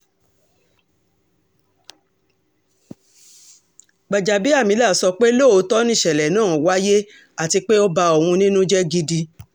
gbàjàbíàmílà sọ pé lóòótọ́ nìṣẹ̀lẹ̀ náà wáyé àti pé ó ba òun nínú jẹ́ gidi